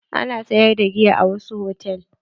Ana sayar da giya a wasu hotal.